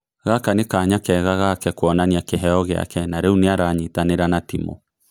Gaka nĩ kanya kega gake kuonania kĩheyo gĩake na rĩu nĩ aranyitanĩra na timu".